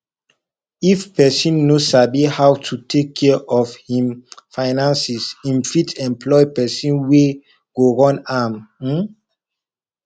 if person no sabi how to take care of im finances im fit employ person wey go run am um